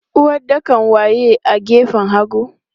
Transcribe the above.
Uwaɗɗakan waye a gefen hagu?